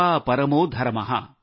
सेवा परमो धर्म